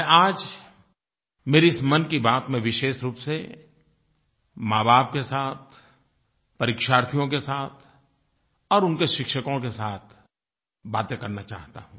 मैं आज मेरी इस मन की बात में विशेष रूप से माँबाप के साथ परीक्षार्थियों के साथ और उनके शिक्षकों के साथ बातें करना चाहता हूँ